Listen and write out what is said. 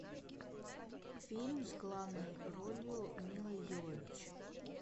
фильм с главной ролью милы йовович